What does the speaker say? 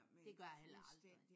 Det gør jeg heller aldrig